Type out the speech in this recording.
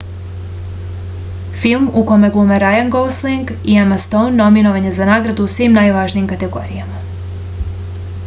film u kome glume rajan gosling i ema stoun nominovan je za nagrade u svim najvažnijim kategorijama